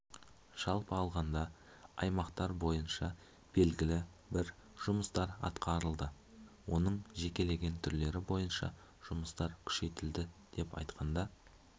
жалпы алғанда аймақтар бойынша белгілі бір жұмыстар атқарылды оның жекелеген түрлері бойынша жұмыстар күшейтілді атап айтқанда